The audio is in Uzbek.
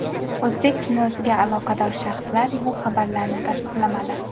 O‘zbek kinosiga aloqador shaxslar bu xabarlarni tasdiqlamadi.